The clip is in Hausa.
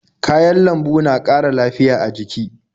Kayan lambu na ƙara lafiya a jiki.